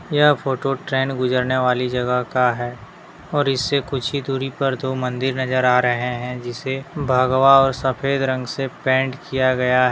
यह photo train गुजरने वाली जगह का है और इससे कुछ ही दूरी पर दो मंदिर नजर आ रहे हैं जिसे भगवा और सफेद रंग से पेंट किया गया है।